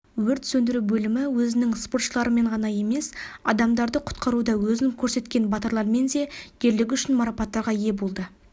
өрт сөндіру бөлімі өзінің спортшыларымен ғана емес адамдарды құтқаруда өзін көрсеткен батырлармен де ерлігі үшін марапаттарға ие болды